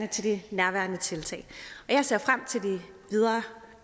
til de nærværende tiltag jeg ser frem til det videre